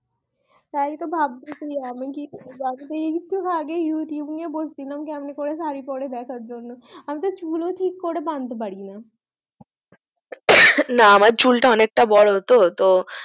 তাই তো ভাবতেসি আমি কি করবো আমি তো একটু আগেই youtube নিয়ে বসছিলাম কেমন করে শাড়ী পরে দেখার জন্য আমি তো চুল ও ঠিক করে বাঁধতে পারিনা না আমার চুলটা অনেকটা বড় তো তো